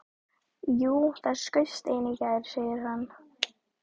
Jú, það skaust ein í gær, segir hann.